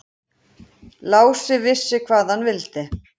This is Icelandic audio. Lási vissi hvað hann vildi.